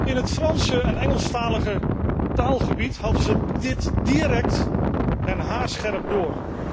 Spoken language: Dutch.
In het Franse en Engelse taalgebied hadden ze dit direct en haarscherp door.